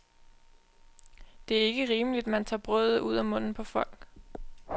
Det er ikke rimeligt, man tager brødet ud af munden på folk.